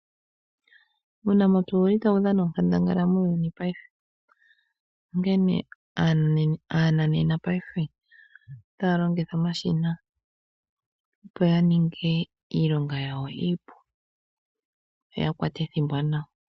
Uunamapya owuli tawu dhana oonkandangal muuyuni wopaife, onkene aananena paife otaya longitha omashina opo ya ninge iilonga yawo iipu, yo ya kwate ethimbo nawa.